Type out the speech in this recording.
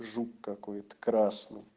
жук какой-то красный